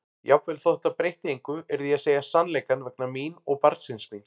Jafnvel þótt það breytti engu yrði ég að segja sannleikann vegna mín og barnsins míns.